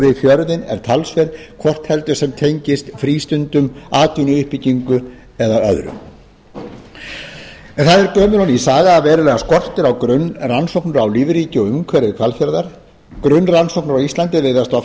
við fjörðinn er talsverð hvort heldur sem tengist frístundum atvinnuuppbyggingu eða öðru en það er gömul og ný saga að verulega skortir á grunnrannsóknir á lífríki og umhverfi hvalfjarðar grunnrannsóknir á íslandi virðast oft